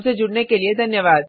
हमसे जुड़ने के लिए धन्यवाद